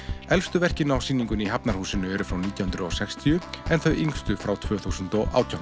elstu verkin á sýningunni í Hafnarhúsinu eru frá nítján hundruð og sextíu en þau yngstu frá tvö þúsund og átján